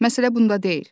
Məsələ bunda deyil.